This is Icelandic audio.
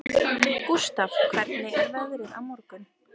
Gústaf, hvernig er veðrið á morgun?